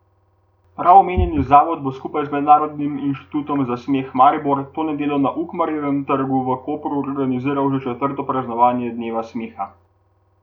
Prav omenjeni zavod bo skupaj z Mednarodnim inštitutom za smeh Maribor to nedeljo na Ukmarjevem trgu v Kopru organiziral že četrto praznovanje dneva smeha.